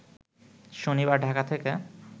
শনিবার ঢাকা থেকে